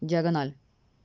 диагональ